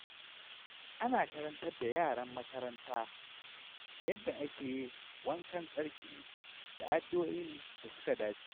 Ana karantar da yaran makaranta yadda ake wankan tsarki da addu’o’in da suka dace.